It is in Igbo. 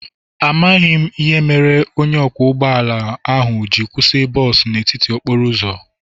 Amaghị m ihe mere onye ọkwọ ụgbọ ala ahụ ji kwụsị bọs n'etiti okporo ụzọ.